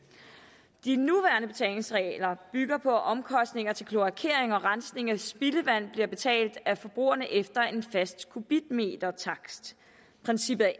de nuværende betalingsregler bygger på at omkostninger til kloakering og rensning af spildevand bliver betalt af forbrugerne efter en fast kubikmetertakst princippet er